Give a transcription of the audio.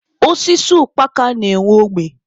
Osisi ukpaka na-enwe ogbe.